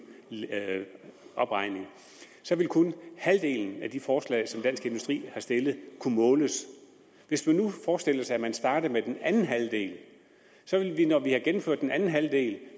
opregning så ville kun halvdelen af de forslag som dansk industri har stillet kunne måles hvis man nu forestillede sig at man startede med den anden halvdel så ville vi når vi har gennemført den anden halvdel